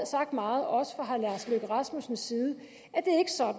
sagt meget også fra herre lars løkke rasmussens side